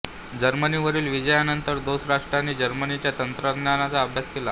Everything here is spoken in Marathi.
जर्मनीवरील विजया नंतर दोस्त राष्ट्रांनी जर्मनीच्या तंत्रज्ञानाचा अभ्यास केला